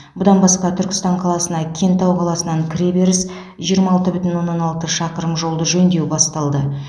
бұдан басқа түркістан қаласына кентау қаласынан кіреберіс жиырма алты бүтін оннан алты шақырым жолды жөндеу басталды